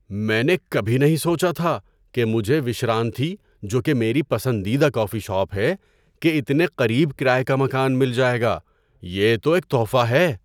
میں نے کبھی نہیں سوچا تھا کہ مجھے وشرانتھی، جو کہ میری پسندیدہ کافی شاپ ہے، کے اتنے قریب کرایے کا مکان مل جائے گا۔ یہ تو ایک تحفہ ہے!